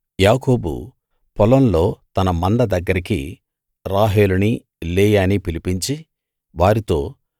యాకోబు పొలంలో తన మంద దగ్గరికి రాహేలునీ లేయానీ పిలిపించి వారితో